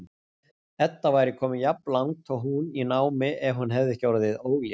Edda væri komin jafnlangt og hún í námi ef hún hefði ekki orðið ólétt.